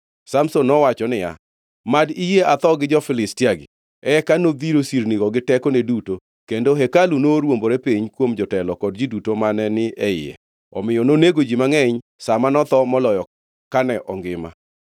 Samson nowacho niya, “Mad iyie atho gi jo-Filistia-gi!” Eka nodhiro sirnigo gi tekone duto, kendo hekalu norwombore piny kuom jotelo kod ji duto mane ni e iye. Omiyo nonego ji mangʼeny sa ma notho moloyo kane ongima.